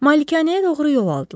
Malikanəyə doğru yol aldılar.